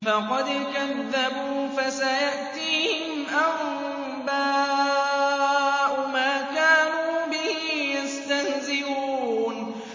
فَقَدْ كَذَّبُوا فَسَيَأْتِيهِمْ أَنبَاءُ مَا كَانُوا بِهِ يَسْتَهْزِئُونَ